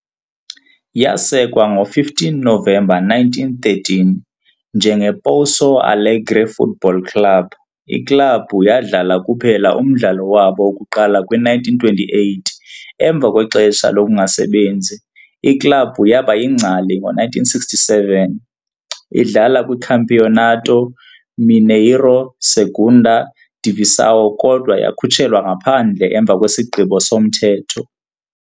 Yasekwa ngo-15 Novemba 1913 "njengePouso Alegre Football Club", iklabhu yadlala kuphela umdlalo wabo wokuqala kwi-1928. Emva kwexesha lokungasebenzi, iklabhu yaba yingcali ngo-1967, idlala kwiCampeonato Mineiro Segunda Divisão kodwa yakhutshelwa ngaphandle emva kwesigqibo somthetho.